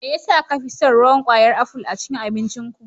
Me yasa ka fi son ruwan kwayar aful a cikin abincinku.